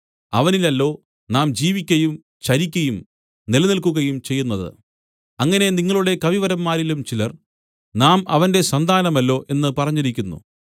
അവനിലല്ലോ നാം ജീവിക്കയും ചരിക്കയും നിലനിൽക്കുകയും ചെയ്യുന്നത് അങ്ങനെ നിങ്ങളുടെ കവിവരന്മാരിലും ചിലർ നാം അവന്റെ സന്താനമല്ലോ എന്ന് പറഞ്ഞിരിക്കുന്നു